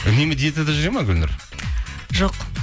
үнемі диетада жүреді ме гүлнұр жоқ